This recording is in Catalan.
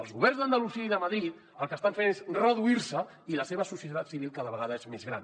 els governs d’andalusia i de madrid el que estan fent és reduir se i la seva societat civil cada vegada és més gran